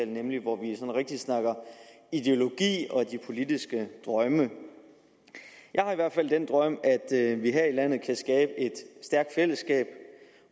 nemlig hvor vi rigtig snakker ideologi og de politiske drømme jeg har i hvert fald den drøm at vi her i landet kan skabe et stærkt fællesskab